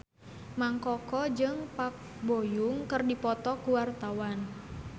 Mang Koko jeung Park Bo Yung keur dipoto ku wartawan